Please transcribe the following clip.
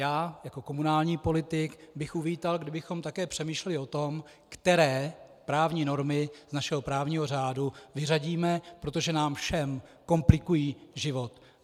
Já jako komunální politik bych uvítal, kdybychom také přemýšleli o tom, které právní normy z našeho právního řádu vyřadíme, protože nám všem komplikují život.